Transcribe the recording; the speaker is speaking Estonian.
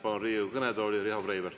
Palun Riigikogu kõnetooli Riho Breiveli.